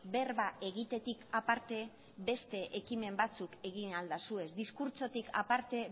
berba egitetik aparte beste ekimen batzuk egin ahal dituzue diskurtsotik aparte